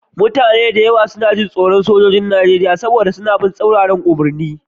Mutane da yawa suna tsoron Sojojin Najeriya saboda suna bin tsauraran umarni